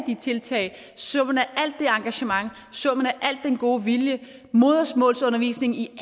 tiltag summen af alt det engagement al den gode vilje modersmålsundervisning i